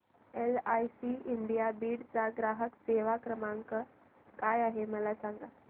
LIC India Beed चा ग्राहक सेवा क्रमांक काय आहे मला सांग